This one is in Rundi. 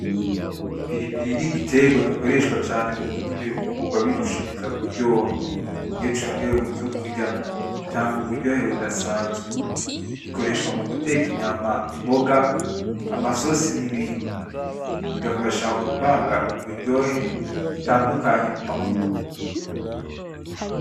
Ipiripiri ni igiterwa gikoreshwa cane mu gutuma ibifungurwa birushiriza kuryoha. Iyo congewe muvyokurya gitanga uburyohe budasanzwe. Gikoreshwa mu guteka inyama, imboga. amasosi n'ibindi. Bigafasha guvanga uburyohe butandukanye mu mafunguro.